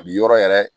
A bi yɔrɔ yɛrɛ